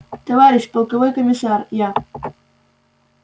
товарищ полковой комиссар я